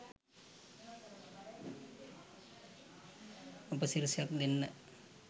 උපසිරසියක් දෙන්න